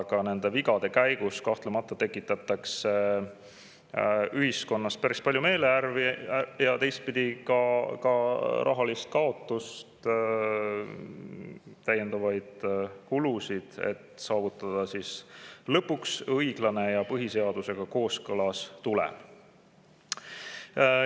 Aga nende vigade käigus kahtlemata tekitatakse ühiskonnas päris palju meelehärmi ja teistpidi ka rahaline kaotus, täiendavad kulud, et saavutada lõpuks õiglane ja põhiseadusega kooskõlas olev tulem.